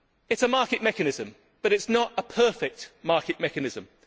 is a market mechanism, but it is not a perfect market mechanism.